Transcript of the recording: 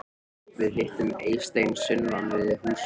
Við hittum Eystein sunnan undir húsvegg.